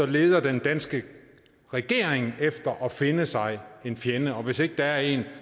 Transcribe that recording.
leder den danske regering efter at finde sig en fjende og hvis ikke der er en